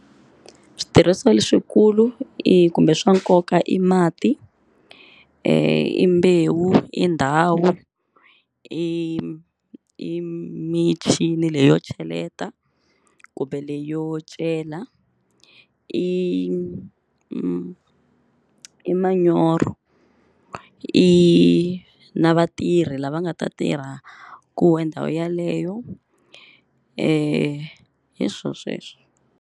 Switirhisiwa leswikulu i kumbe swa nkoka i mati, i mbewu, i ndhawu, i michini leyo cheleta kumbe leyo cela i i manyoro i na vatirhi lava nga ta tirhaku ndhawu yeleyo e hi swona sweswo.